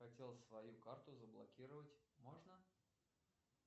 хотел свою карту заблокировать можно